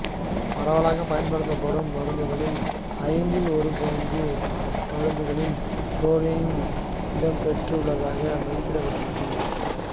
பரவலாகப் பயன்படுத்தப்படும் மருந்துகளில் ஐந்தில் ஒரு பாகம் மருந்துகளில் புளோரின் இடம்பெற்று உள்ளதாக மதிப்பிடப்பட்டுள்ளது